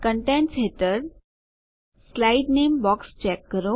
contents હેઠળ slide નામે box check કરો